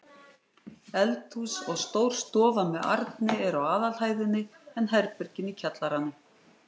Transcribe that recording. Eldhús og stór stofa með arni eru á aðalhæðinni en herbergin í kjallaranum.